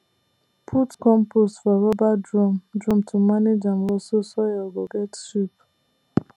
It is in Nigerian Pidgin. put compost for rubber drum drum to manage am well so soil go get shape